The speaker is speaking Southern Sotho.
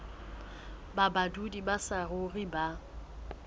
ba badudi ba saruri ba